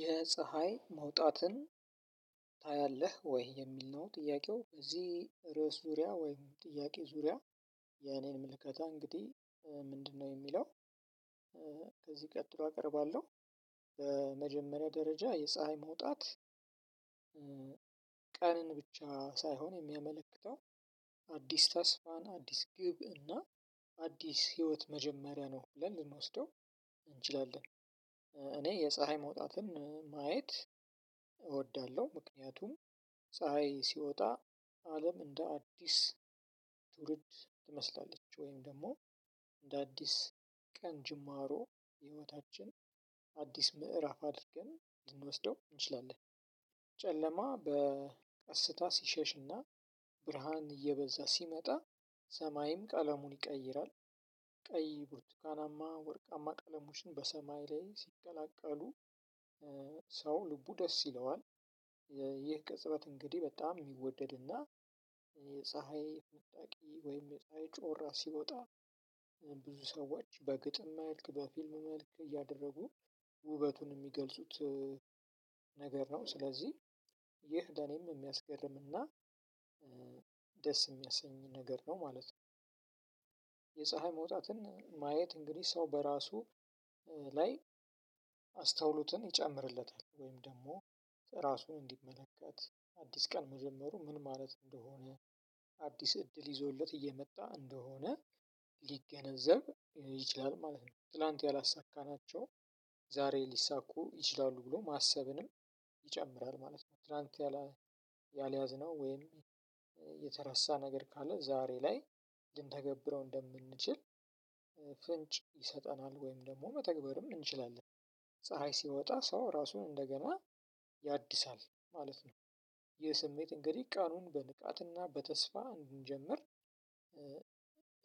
የፀሀይ መውጣትን ታያለህ ወይ? የሚል ነው ጥያቄው እዚህ ርዕስ ዙሪያ ወይም ጥያቄ ዙሪያ የኔን ምልክታ እንግዲህ እ ምንድነው የሚለው እ ከዚህ ቀጥሎ አቀርባለሁ። በመጀመሪያ ደረጃ የፀሀይ መውጣት እ ቀንን ብቻ ሳይሆን የሚያመለክተው አዲስ ተስፋን አዲስ ግብ እና አዲስ ህይወት መጀመሪያ ነው ብለን ልንወስደው እንችላለን እ እኔ የፀሀይ መውጣትን እ ማየት እወዳለሁ ምክንያቱም ፀሀይ ሲወጣ አለም እንደ አዲስ ትውርድ ትመስላለች ወይም ደግሞ እንደ አዲስ ቀን ጅማሮ ህይወታችን አዲስ ምዕራፍ አድርገን ልንወስደው እንችላለን ጨለማ በ ቀስታ ሲሸሽና ብርሃን እየበዛ ሲመጣ ሰማይም ቀለሙን ይቀይራል። ቀይ፤ ብርቱካናማ፤ ወርቃማ ቀለሞችን በሰማይ ላይ ሲገላቀሉ እ ሰው ልቡ ደስ ይለዋል የ ይ ይህ ቅጽበት እንግዲህ በጣም የሚወደድ እና የፀሀይ ፈንጣቂ ወይም የፀሀይ ጮራ ሲወጣ ሲወጣ ብዙ ሰዎች በግጥም፤ መልክ በፊልም፤ መልክ እያደረጉ ውበቱን የሚገልጹት እ ነገር ነው። ስለዚህ ይህ ለኔም የሚያስገርም እና እ ደስ የሚያሰኝ ነገር ነው ማለት ነው። የፀሀይ መውጣትን ማየት እንግዲህ ሰው በራሱ እ ላይ አስተውሎትን ይጨምርለታል ወይም ደግሞ ራሱን እንዲመለከት አዲስ ቀን መጀመሩ ምን ማለት እንደሆነ አዲስ እድል ይዞለት እየመጣ እንደሆነ ሊገነዘብ ይችላል ማለት ነው። ትላንት ያላሳካናቸው ዛሬ ሊሳኩ ይችላሉ ብሎ ማሰብንም ይጨምራል ማለት ነው። ትላንት ያላ ያልያዝነው ወይም የተረሳ ነገር ካለ ዛሬ ላይ ልንተገብረው እንደምንችል እ ፍንጭ ይሰጠናል ወይም ደግሞ መተግበርም እንችላለን ፀሀይ ሲወጣ ሰው ራሱን እንደገና ያድሳል ማለት ነው የስሜት እንግዲህ ቃሉን በንቃትና በተስፋ እንጀምር እ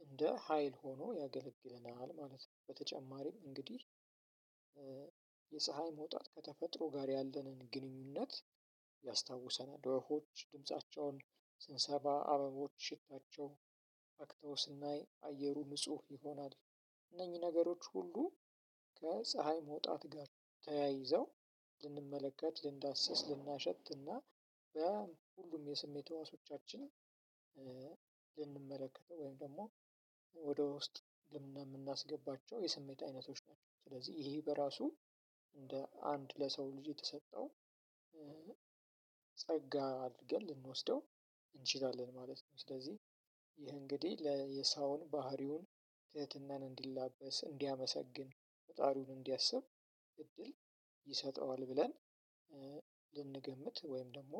እንደ ሀይል ሆኖ ያገለግለናል ማለት ነው በተጨማሪም እንግዲህ እ የፀሀይ መውጣት ከተፈጥሮ ጋር ያለንን ግንኙነት ያስታውሰናል ዎፎሆች ድምፃቸውን ስንሰባ አበቦች ሽታቸው አክተው ስናይ አየሩ ንጹህ ይሆናል እነኚህ ነገሮች ሁሉ ከፀሀይ መውጣት ጋር ተያይዘው ልንመለከት ልንዳሰስ ልናሸትና በሁሉም የስሜት ህዋሶቻችን እ ልንመለከተው ወይም ደግሞ ወደ ውስጥ ለምን የምናስገባቸው የስሜት አይነቶች ናቸው ስለዚህ ይሄ በራሱ እንደ አንድ ለሰው ልጅ የተሰጠው እ ጸጋ አድርገን ልንወስደው እንችላለን ማለት ነው። ስለዚህ ይህ እንግዲህ ለየሳዎን ባህሪውን ትህትናን እንዲላበስ፤ እንዲያመሰግን ፈጣሪውን እንዲያስብ እድል ይሰጠዋል ብለን እ ልንገምት ወይም ደግሞ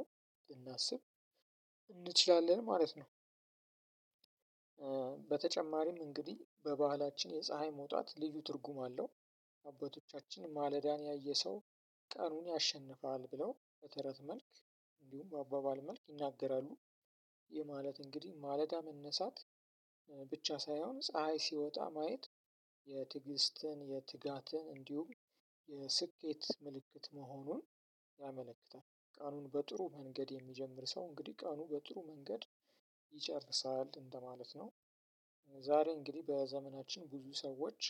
ልናስብ እንችላለን ማለት ነው በተጨማሪም እንግዲህ በባህላችን የፀሀይ መውጣት ልዩ ትርጉም አለው። አባቶቻችን ማለዳን ያየ ሰው ቀኑን ያሸንፋል ብለው በተረት መልክ እንዲሁም በአባባል መልክ ይናገራሉ። ይህ ማለት እንግዲህ ማለዳ መነሳት ብቻ ሳይሆን ፀሀይ ሲወጣ ማየት የትግስትን የትጋትን እንዲሁም የስኬት ምልክት መሆኑን ያመለክታል ቃሉን በጥሩ መንገድ የሚጀምር ሰው እንግዲህ ቅኑን በጥሩ መንገድ ይጨርሳል እንደማለት ነው። ዛሬ እንግዲህ በዘመናችን ብዙ ሰዎች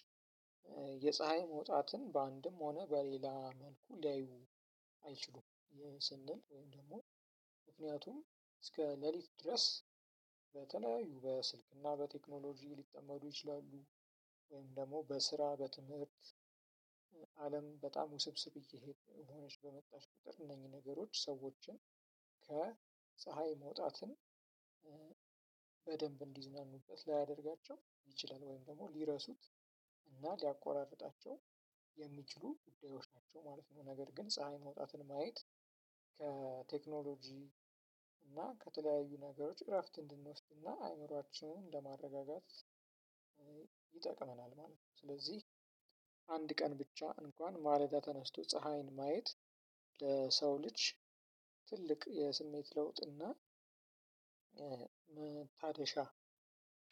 እ የፀሀይ መውጣትን በአንድም ሆነ በሌላ መልኩ ሊያዩ አይችሉም የስንል ወይም ደግሞ ምክንያቱም እስከ ሌሊት ድረስ በተለያዩ በስልክና በቴክኖሎጂ ሊጠመዱ ይችላሉ ወይም ደግሞ በስራ በትምህርት አለም በጣም ውስብስብ እየሄድን ሆነች በመጣሽ ቁጥር እነኚህ ነገሮች ሰዎችን ከፀሀይ መውጣትን እ በደንብ እንዲዝናኑበት ላያደርጋቸው ይችላል ወይም ደግሞ ሊረሱት እና ሊያቋራርጣቸው የሚችሉ ጉዳዮች ናቸው ማለት ነው። ነገር ግን ፀሀይ መውጣትን ማየት ከቴክኖሎጂ እና ከተለያዩ ነገሮች እረፍት እንድንወስድና አይምሮአችንን እንደማረጋጋት ይጠቅመናል ማለት ነው ስለዚህ አንድ ቀን ብቻ እንኳን ማለዳ ተነስቶ ፀሀይን ማየት ለሰው ልጅ ትልቅ የስሜት ለውጥ እና እ እ መታደሻ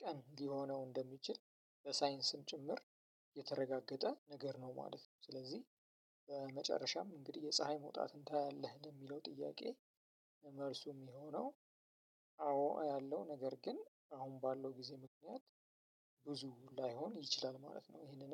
ቀን ሊሆነው እንደሚችል በሳይንስም ጭምር የተረጋገጠ ነገር ነው ማለት ነው። ስለዚህ በመጨረሻም እንግዲህ የፀሀይ መውጣትን ታያለህ የሚለው ጥያቄ መልሱም የሚሆነው አዎ አያለሁ። ነገር ግን አሁን ባለው ጊዜ ምክንያት ብዙ ላይሆን ይችላል ማለት ነው ይሄንን